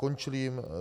Končil jim...